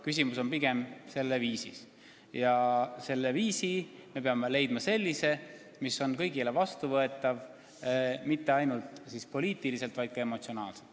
Küsimus on pigem viisis ja me peamegi leidma viisi, mis on kõigile vastuvõetav ning seda mitte ainult poliitiliselt, vaid ka emotsionaalselt.